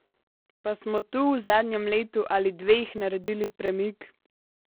Pa smo tu v zadnjem letu ali dveh naredili premik?